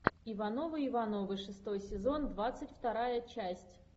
ивановы ивановы шестой сезон двадцать вторая часть